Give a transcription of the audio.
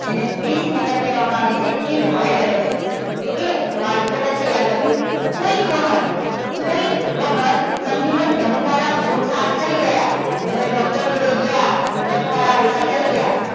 જેને pacemaker કહેવામાં આવે છે. એ provide કરે છે. okay તો આ important છે યાદ રાખજો. કોઈક વખત કોઈક વખત સમજી લો ધબકારા ઓછા થઈ ગયા. તમે doctor જોડે ગયા ધબકારા ઓછા થઈ ગયા.